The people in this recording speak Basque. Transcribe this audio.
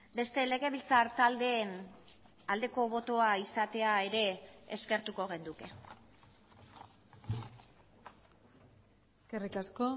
beste legebiltzar taldeen aldeko botoa izatea ere eskertuko genuke eskerrik asko